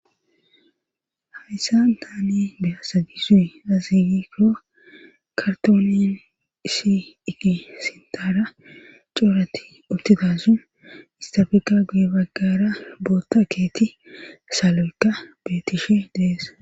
Hayssa taani deasagisuy raziikoo kartoolin ishi igi sintaara cooratti uttidasun istafika guye baggara bootta keeti salo'ekka beetishe deess.